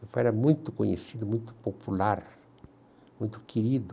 Meu pai era muito conhecido, muito popular, muito querido.